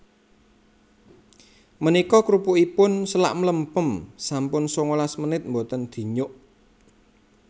Menika krupukipun selak mlempem sampun sangalas menit mboten dinyuk